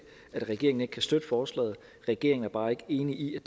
at regeringen ikke kan støtte forslaget regeringen er bare ikke enig i at